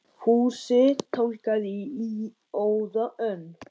Fúsi tálgaði í óða önn.